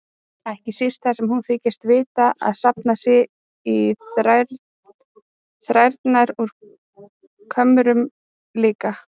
Ekki síst þar sem hún þykist vita að safnað sé í þrærnar úr kömrunum líka.